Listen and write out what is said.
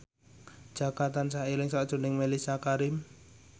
Jaka tansah eling sakjroning Mellisa Karim